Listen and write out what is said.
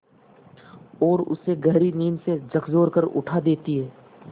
और उसे गहरी नींद से झकझोर कर उठा देती हैं